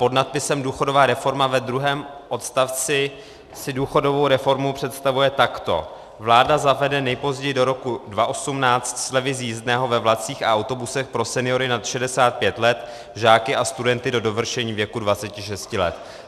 Pod nadpisem Důchodová reforma ve druhém odstavci si důchodovou reformu představuje takto: Vláda zavede nejpozději do roku 2018 slevy z jízdného ve vlacích a autobusech pro seniory nad 65 let, žáky a studenty do dovršení věku 26 let.